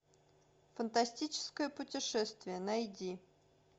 фантастическое путешествие найди